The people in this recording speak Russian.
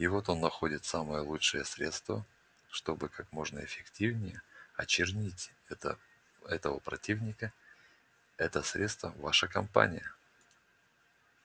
и вот он находит самое лучшее средство чтобы как можно эффективнее очернить это этого противника это средство ваша кампания